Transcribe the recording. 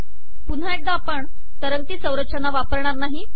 पुन्हा एकदा आपण तरंगती संरचना वापरणार नाही